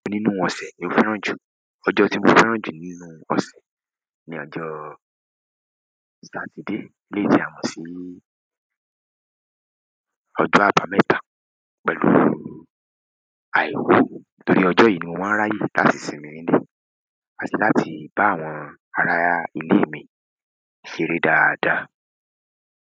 Nínú ọ̀sẹ̀ lo fẹ́ràn jù. Ọjọ́ tí mo fẹ́ràn jù nínú ọ̀sẹ̀ ni ọjọ́ Satide. Eleyii ti à mọ́ sí ọjo àbámẹ́ta pẹ̀lú àìkú. Nítorí ọjọ́ yìí ni mo máa ń ráyè láti sinmi nílé, àti láti bá àwọn ará ilé mi ṣeré dáadáa.